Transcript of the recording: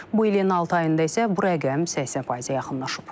Bu ilin altı ayında isə bu rəqəm 80%-ə yaxınlaşıb.